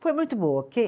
Foi muito boa.